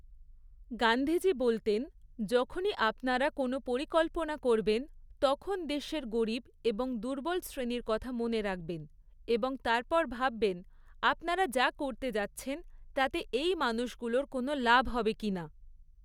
গান্ধীজী বলতেন, যখনই আপনারা কোনও পরিকল্পনা করবেন, তখন দেশের গরীব এবং দুর্বল শ্রেণির কথা মনে রাখবেন এবং তারপর ভাববেন, আপনারা যা করতে যাচ্ছেন, তাতে এই মানুষগুলোর কোনও লাভ হবে কিনা।